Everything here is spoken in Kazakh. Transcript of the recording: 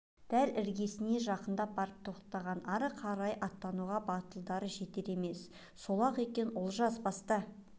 дәл іргесіне жақындап барып тоқтаған ары қарай аттауға батылдары жетер емес сол-ақ екен олжас баста